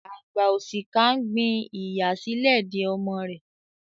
Àgbà òṣìkà ń gbin ìyà sílẹ̀ de ọmọ rẹ̀.